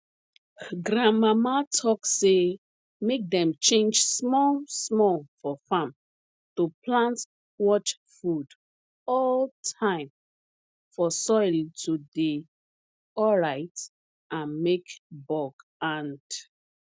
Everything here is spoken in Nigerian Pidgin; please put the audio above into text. grandmama talk say make dem change small small for farm to plant watch food all time for soil to dey alright and make bug and